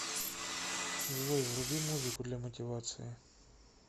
джой вруби музыку для мотивации